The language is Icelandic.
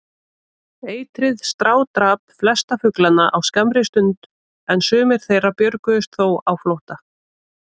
Eitrið strádrap flesta fuglana á skammri stund, en sumir þeirra björguðust þó á flótta.